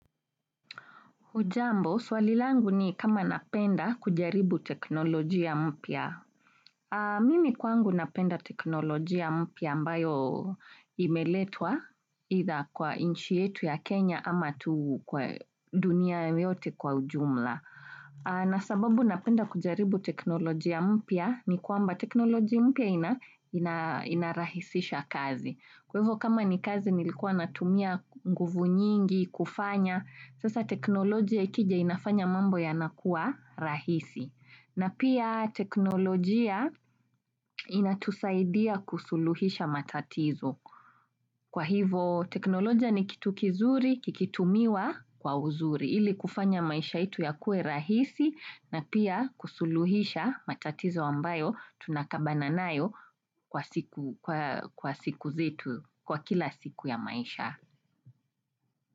Hujambo, swali langu ni kama napenda kujaribu teknolojia mpya. Mimi kwangu napenda teknolojia mpya ambayo imeletwa, itha kwa inchi yetu ya Kenya ama tu kwa dunia yote kwa ujumla. Na sababu napenda kujaribu teknolojia mpya, ni kwamba teknolojia mpya inarahisisha kazi. Kwa hivyo kama ni kazi nilikuwa natumia nguvu nyingi, kufanya, sasa teknolojia ikija inafanya mambo ya nakua rahisi. Na pia teknolojia. Inatusaidia kusuluhisha matatizo. Kwa hivyo teknolojia ni kitu kizuri kikitumiwa, kwa uzuri. Ili kufanya maisha yetu yakue rahisi na pia kusuluhisha matatizo ambayo tunakabana nayo, kwa siku zetu, kwa kila siku ya maisha.